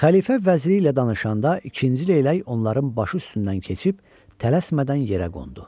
Xəlifə vəziri ilə danışanda, ikinci leylək onların başı üstündən keçib tələsmədən yerə qondu.